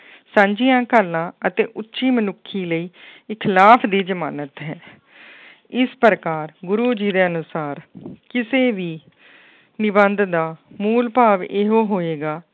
ਸਾਂਝੀਆਂ ਘਾਲਣਾ ਅਤੇ ਉੱਚੀ ਮਨੁੱਖੀ ਲਈ ਇਹ ਖਿਲਾਫ਼ ਦੀ ਜਮਾਨਤ ਹੈ ਇਸ ਪ੍ਰਕਾਰ ਗੁਰੂ ਜੀ ਦੇ ਅਨੁਸਾਰ ਕਿਸੇ ਵੀ ਨਿਬੰਧ ਦਾ ਮੂਲ ਭਾਵ ਇਹੋ ਹੋਏਗਾ,